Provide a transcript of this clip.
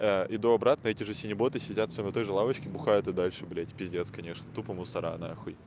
иду обратно эти же синеботы сидят всё на той же лавочке бухают и дальше блять пиздец конечно тупо мусора нахуй